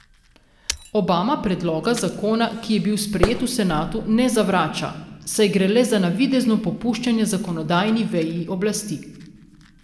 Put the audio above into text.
Obama predloga zakona, ki je bil sprejet v senatu, ne zavrača, saj gre le za navidezno popuščanje zakonodajni veji oblasti.